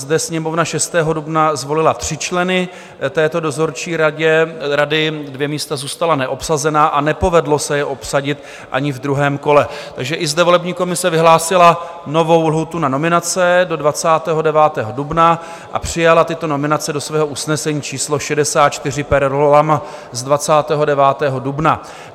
Zde Sněmovna 6. dubna zvolila tři členy této dozorčí rady, dvě místa zůstala neobsazena a nepovedlo se je obsadit ani ve druhém kole, takže i zde volební komise vyhlásila novou lhůtu na nominace do 29. dubna a přijala tyto nominace do svého usnesení číslo 64 per rollam z 29. dubna.